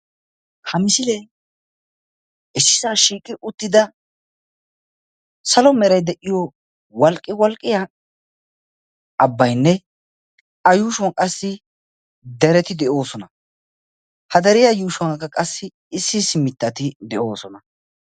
ha misilee issisaa shiiqi uttida salo meray de'iyo walqi walqqiya abaynne a yuushuwan qassi dereti de'oosona. ha deriya yuushuwan qassi issi issi mitati de'oosona.